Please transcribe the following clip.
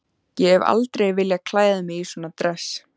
Ég hef aldrei viljað klæða mig í svona dress.